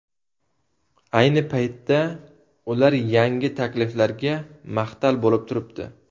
Ayni paytda ular yangi takliflarga mahtal bo‘lib turibdi.